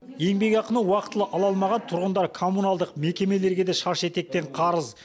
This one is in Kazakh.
еңбекақыны уақытылы ала алмаған тұрғындар коммуналдық мекемелерге де шаш етектен қарыз